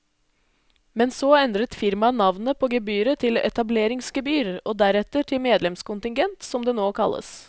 Men så endret firmaet navnet på gebyret til etableringsgebyr og deretter til medlemskontingent, som det nå kalles.